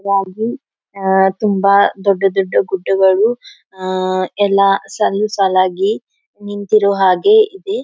ರಾಜು ಅಹ್ ತುಂಬಾ ದೊಡ್ಡ ದೊಡ್ಡ ಗುಡ್ಡ ಗಳು ಅಹ್ ಎಲ್ಲಾ ಸಲ್ಲು ಸಾಲಾಗಿ ನಿಂತಿರುವ ಹಾಗೆ ಇದೆ.